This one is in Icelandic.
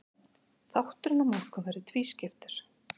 Þátturinn á morgun verður tvískiptur.